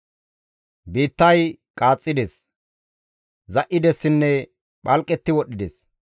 Biittay qaaxxides; za7idessinne phalqetti wodhdhides.